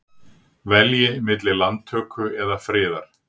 Velji milli landtöku eða friðar